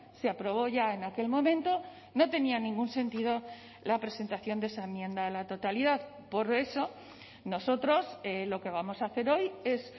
se aprobó ya en aquel momento no tenía ningún sentido la presentación de esa enmienda a la totalidad por eso nosotros lo que vamos a hacer hoy es